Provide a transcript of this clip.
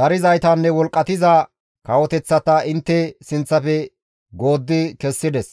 darizaytanne wolqqatiza kawoteththata intte sinththafe gooddi kessides.